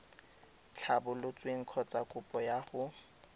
tlhabolotsweng kgotsa kopo ya go